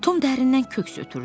Tom dərindən köks ötürdü.